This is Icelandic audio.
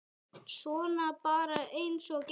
Svona bara eins og gengur.